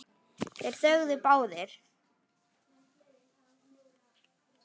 Þeir þögðu báðir.